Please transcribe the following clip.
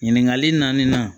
Ɲininkali naaninan